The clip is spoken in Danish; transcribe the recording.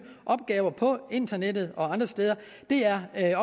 opgaver på internettet og andre steder er